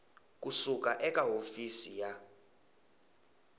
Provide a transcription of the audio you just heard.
ku suka eka hofisi ya